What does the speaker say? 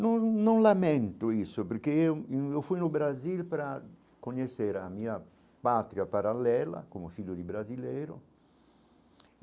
Não não lamento isso, porque eu eu fui no Brasil para conhecer a minha pátria paralela, como filho de brasileiro.